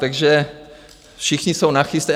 Takže všichni jsou nachystaní.